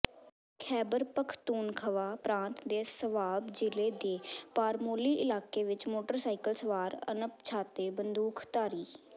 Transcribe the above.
ਖ਼ੈਬਰ ਪਖ਼ਤੂਨਖਵਾ ਪ੍ਰਾਂਤ ਦੇ ਸਵਾਬ ਜ਼ਿਲ੍ਹੇ ਦੇ ਪਾਰਮੋਲੀ ਇਲਾਕੇ ਵਿਚ ਮੋਟਰਸਾਈਕਲ ਸਵਾਰ ਅਣਪਛਾਤੇ ਬੰਦੂਕਧਾਰੀ